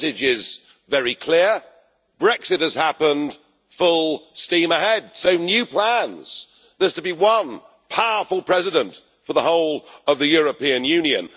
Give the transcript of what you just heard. The message is very clear Brexit has happened, full steam ahead. So new plans there is to be one powerful President for the whole of the European Union